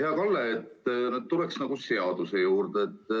Hea Kalle, tuleks seaduse juurde.